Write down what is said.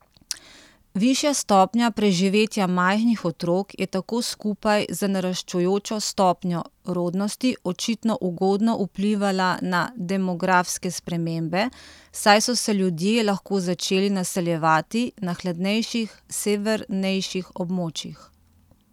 Višja stopnja preživetja majhnih otrok je tako skupaj z naraščajočo stopnjo rodnosti očitno ugodno vplivala na demografske spremembe, saj so se ljudje lahko začeli naseljevati na hladnejših severnejših območjih.